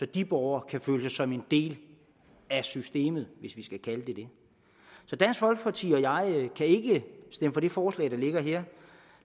de borgere kan føle sig som en del af systemet hvis vi skal kalde det det så dansk folkeparti og jeg kan ikke stemme for det forslag der ligger her